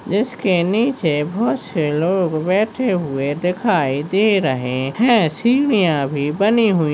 इसके नीचे बहुत से लोग बैठे हुए दिखाई दे रहे है सीढ़िया भी बनी हुई--